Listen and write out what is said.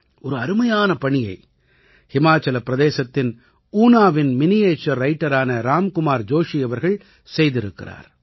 ஒரு அருமையான பணியை ஹிமாச்சல பிரதேசத்தின் ஊனாவின் மினியேச்சர் ரைட்டரான ராம் குமார் ஜோஷி அவர்கள் செய்திருக்கிறார்